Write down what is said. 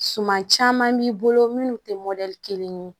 Suman caman b'i bolo minnu tɛ kelen ye